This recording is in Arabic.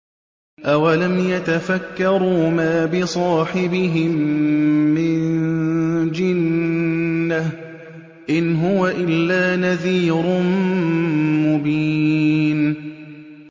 أَوَلَمْ يَتَفَكَّرُوا ۗ مَا بِصَاحِبِهِم مِّن جِنَّةٍ ۚ إِنْ هُوَ إِلَّا نَذِيرٌ مُّبِينٌ